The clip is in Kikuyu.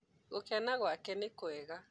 gũkena gũake nĩkũega.